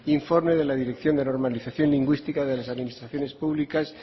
informe de la dirección de normalización lingüística de las administraciones públicas